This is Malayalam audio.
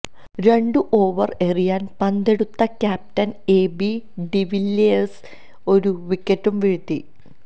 രണ്ടു ഓവർ എറിയാൻ പന്തെടുത്ത ക്യാപ്റ്റൻ എ ബി ഡിവില്ലിയേഴ്സും ഒരു വിക്കറ്റു വീഴ്ത്തി